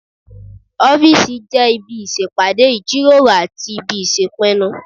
Ọ́fìsì jẹ́ ibi ìṣèpàdé, ìjíròrò àti ibi ìṣèpinnu